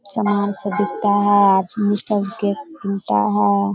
सामान सब बिकता है । सब गेट खुलता है |